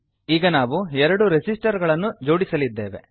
ಈಗ ನಾವು ಎರಡು ರೆಸಿಸ್ಟರ್ ಗಳನ್ನು ಜೋಡಿಸಲಿದ್ದೇವೆ